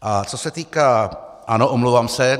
A co se týká... ano, omlouvám se.